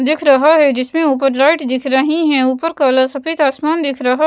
दिख रहा है जिसमें ऊपर लाइट दिख रही है ऊपर कलर सफेद आसमान दिख रहा--